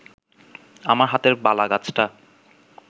আমার হাতের বালাগাছটা